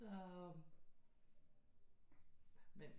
Så men